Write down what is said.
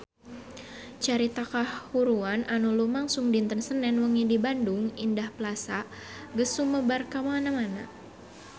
Carita kahuruan anu lumangsung dinten Senen wengi di Bandung Indah Plaza geus sumebar kamana-mana